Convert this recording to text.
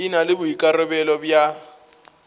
e na le boikarabelo bja